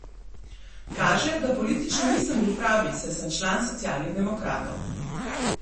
Kaže, da politično nisem bil pravi, saj sem član Socialnih demokratov.